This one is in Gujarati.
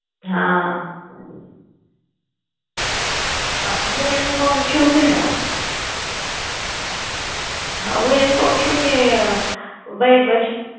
હા હું એમ કાવ છુ કે હા હું એમ કાવ ચુ કે વે બચ